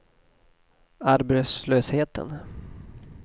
arbetslösheten